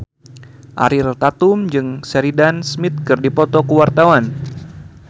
Ariel Tatum jeung Sheridan Smith keur dipoto ku wartawan